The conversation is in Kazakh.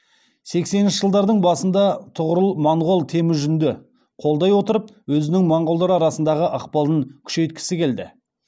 сексенінші жылдардың басында тұғырыл монғол темүжінді қолдай отырып өзінің монғолдар арасындағы ықпалын күшейткісі келді